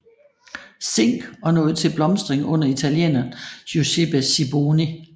Zinck og nåede til blomstring under italieneren Giuseppe Siboni